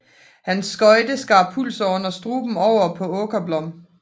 Hans skøjte skar pulsåren og struben over på Åkerblom